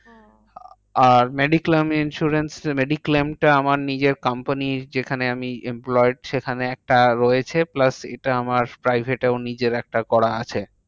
আর mediclaim insurance এর mediclaim টা আমার নিজের company র যেখানে আমি employed সেখানে একটা রয়েছে। plus এটা আমার private এও নিজের একটা করা আছে।